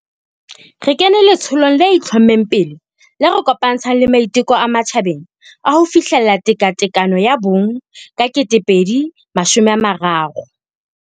Re kene letsholong le itlho-mmeng pele le re kopantshang le maiteko a matjhabeng a ho fihlella tekatekano ya bong ka 2030.